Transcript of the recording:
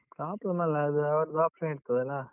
problem ಅಲ್ಲ, ಅದು ಅವ್ರದ್ option ಇರ್ತದಲ್ಲಾ?